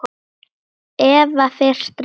Eva fer strax.